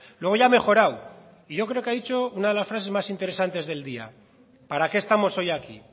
luego ya ha mejorado y yo creo que ha dicho una de las frases más interesantes del día para qué estamos hoy aquí